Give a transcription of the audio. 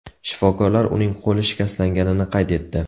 Shifokorlar uning qo‘li shikastlanganini qayd etdi.